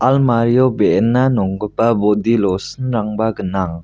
almario be·ena nonggipa bodi lotion-rangba gnang.